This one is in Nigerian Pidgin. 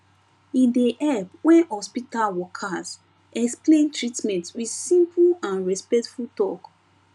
e dey help when hospital workers explain treatment with simple and respectful talk